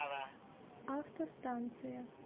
автостанция